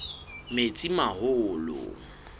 metsimaholo